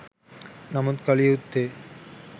නමුත් කළ යුත්තේ